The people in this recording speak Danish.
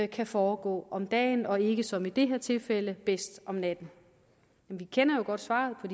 kan foregå om dagen og ikke som i det her tilfælde bedst om natten men vi kender jo godt svaret på